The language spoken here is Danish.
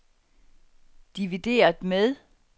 divideret med